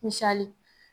Misali